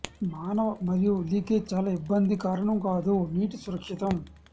మానవ మరియు లీకేజ్ చాలా ఇబ్బంది కారణం కాదు నీటి సురక్షితం